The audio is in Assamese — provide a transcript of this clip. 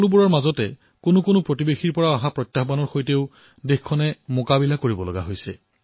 ইয়াৰে মাজত আমাৰ কিছু প্ৰতিবেশী দেশে যি সমস্যাৰ সৃষ্টি কৰিছে তাৰ সৈতেও মোকাবিলা কৰা হৈছে